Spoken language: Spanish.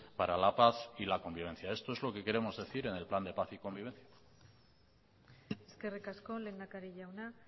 para la paz y la convivencia esto es lo que queremos decir en el plan de paz y convivencia eskerrik asko lehendakari jauna